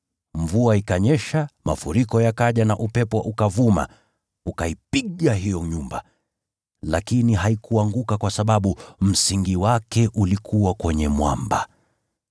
Mvua ikanyesha, mafuriko yakaja, na upepo ukavuma ukaipiga hiyo nyumba. Lakini haikuanguka; kwa sababu msingi wake ulikuwa kwenye mwamba.